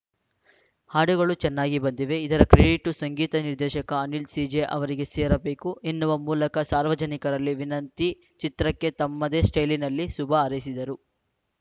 ಹಾಡುಗಳು ಚೆನ್ನಾಗಿ ಬಂದಿವೆ ಇದರ ಕ್ರೆಡಿಟ್ಟು ಸಂಗೀತ ನಿರ್ದೇಶಕ ಅನಿಲ್‌ ಸಿ ಜೆ ಅವರಿಗೆ ಸೇರಬೇಕು ಎನ್ನುವ ಮೂಲಕ ಸಾರ್ವಜನಿಕರಲ್ಲಿ ವಿನಂತಿ ಚಿತ್ರಕ್ಕೆ ತಮ್ಮದೇ ಸ್ಟೈಲಿನಲ್ಲಿ ಶುಭ ಹಾರೈಸಿದರು